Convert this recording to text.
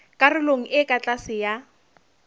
karolong e ka tlase ya